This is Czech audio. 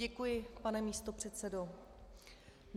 Děkuji, pane místopředsedo.